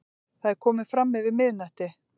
Það er komið framyfir miðnætti.